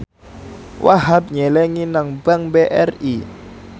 Wahhab nyelengi nang bank BRI